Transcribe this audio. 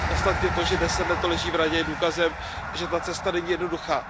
Ostatně to, že 10 let leží v Radě, je důkazem, že ta cesta není jednoduchá.